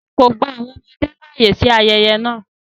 Wọn kọ gba awọn ọmọde laaye si ayẹyẹ náa